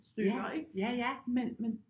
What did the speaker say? Stykker ikke men men